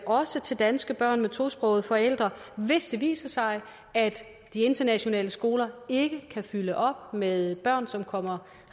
også til danske børn med tosprogede forældre hvis det viser sig at de internationale skoler ikke kan fyldes op med børn som kommer